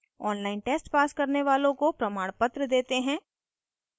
online test pass करने वालों को प्रमाणपत्र देते हैं